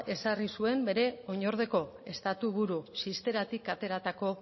ezarri zuen bere oinordeko estatuburu txisteratik ateratako